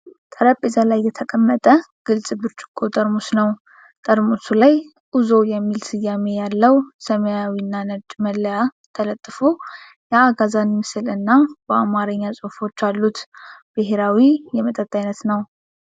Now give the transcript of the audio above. ጠረጴዛ ላይ የተቀመጠ ግልጽ ብርጭቆ ጠርሙስ ነው። ጠርሙሱ ላይ "ኡዞ" የሚል ስያሜ ያለው ሰማያዊና ነጭ መለያ ተለጥፎ፣ የአጋዘን ምስል እና በአማርኛ ጽሑፎች አሉት። ብሄራዊ የመጠጥ አይነት ነው።